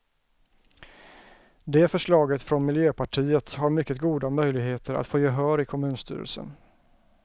Det förslaget från miljöpartiet har mycket goda möjligheter att få gehör i kommunstyrelsen.